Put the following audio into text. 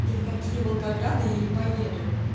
ни в какие волгограды я не поеду